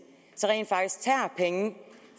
rent faktisk tager penge